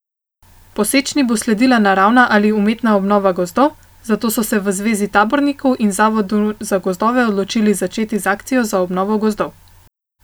Po sečnji bo sledila naravna ali umetna obnova gozdov, zato so se v zvezi tabornikov in zavodu za gozdove odločili začeti z akcijo za obnovo gozdov.